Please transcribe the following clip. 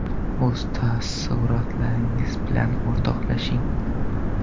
O‘z taassurotlaringiz bilan o‘rtoqlashing.